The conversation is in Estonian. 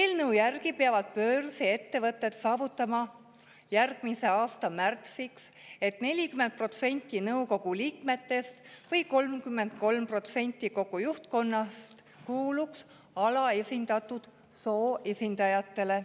Eelnõu järgi peavad börsiettevõtted saavutama järgmise aasta märtsiks, et 40% nende nõukogu või 33% juhtkonna liikmetest kuulub alaesindatud soo esindajate hulka.